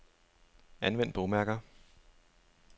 Anvend bogmærker.